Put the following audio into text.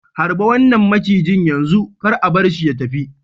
Harba wannan macijin yanzu! kar a bar shi ya tafi.